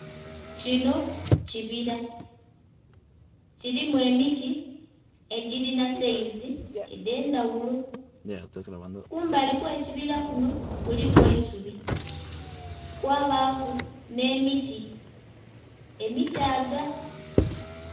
Kino kibira, kilimu emiti egilina sayizi edh'endhaghulo. Kumbali kw'ekibira kuno kuliku eisubi, kwabaaku nh'emiti, emitaaga.